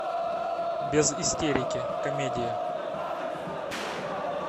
без истерики комедия